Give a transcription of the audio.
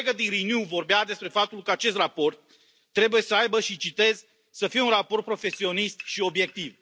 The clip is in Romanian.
O colegă din Renew vorbea despre faptul că acest raport trebuie, și citez, să fie un raport profesionist și obiectiv.